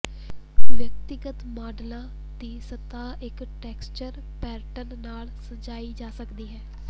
ਵਿਅਕਤੀਗਤ ਮਾਡਲਾਂ ਦੀ ਸਤਹ ਇੱਕ ਟੈਕਸਟਚਰ ਪੈਟਰਨ ਨਾਲ ਸਜਾਈ ਜਾ ਸਕਦੀ ਹੈ